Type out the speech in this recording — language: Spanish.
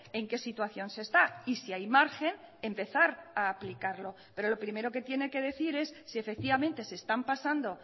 en qué situación se está y si hay margen empezar a aplicarlo pero lo primero que tiene que decir es si efectivamente se están pasando